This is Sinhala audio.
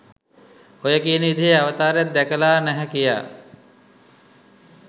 ඔය කියන විදිහේ අවතාරයක් දැකලා නැහැ කියා.